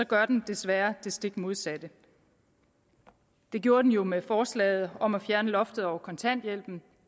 gør den desværre det stik modsatte det gjorde den jo med forslaget om at fjerne loftet over kontanthjælpen